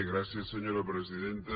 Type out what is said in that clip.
gràcies senyora presidenta